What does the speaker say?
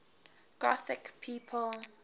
gothic people